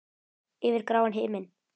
Yfir gráan himin.